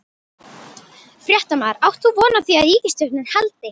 Fréttamaður: Átt þú von á því að ríkisstjórnin haldi?